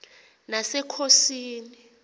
nasekhosini